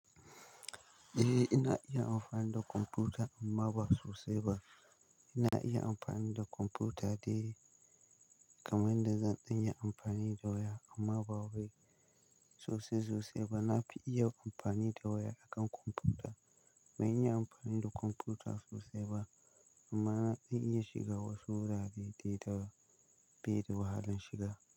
Eh, ina iya amfani da kwamfuta amma ba sosai ba. Ina iya amfani da kwamfuta dai kamar yadda zan iya amfani da waya amma ba wai sosai sosai ba. Na fi iya amfani da waya akan kwamfuta. Ban iya amfani da kwamfuta sosai ba. Amma zan iya shiga wasu wurare da bai da wahalan shiga.